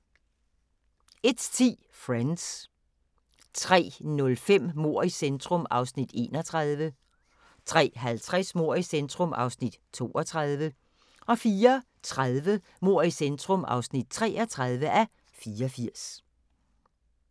01:10: Friends 03:05: Mord i centrum (31:84) 03:50: Mord i centrum (32:84) 04:30: Mord i centrum (33:84)